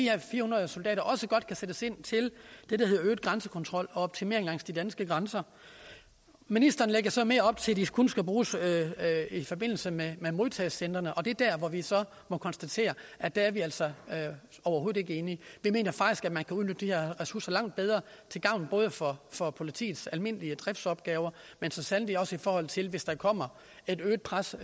her fire hundrede soldater også godt kan sættes ind til det der hedder øget grænsekontrol og optimering langs de danske grænser ministeren lægger så mere op til at de kun skal bruges i forbindelse med modtagecentrene og det er der hvor vi så må konstatere at der er vi altså overhovedet ikke enige vi mener faktisk at man kan udnytte de her ressourcer langt bedre til gavn både for for politiets almindelige driftsopgaver men så sandelig også i forhold til hvis der kommer et øget pres